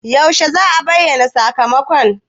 Yaushe za'a bayyana sakamako?